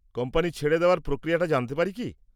Company ছেড়ে দেওয়ার প্রক্রিয়াটা জানতে পারি কী?